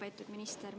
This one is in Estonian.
Lugupeetud minister!